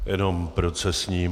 Jenom procesní.